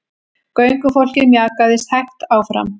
Göngufólkið mjakaðist hægt áfram.